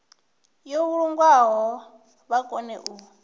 yo vhulungwaho vha kone u